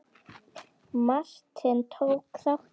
Martin, tók þátt í.